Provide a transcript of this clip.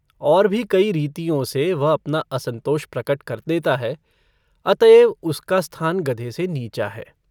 और भी कई रीतियों से वह अपना असन्तोष प्रकट कर देता है अतएव उसका स्थान गधे से नीचा है।